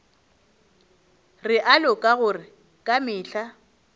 realo ka gore ka mehla